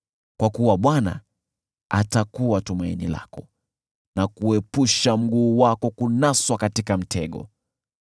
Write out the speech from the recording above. kwa kuwa Bwana atakuwa tumaini lako na kuepusha mguu wako kunaswa katika mtego.